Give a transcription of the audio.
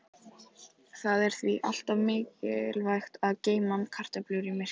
Það er því alltaf mikilvægt að geyma kartöflur í myrkri.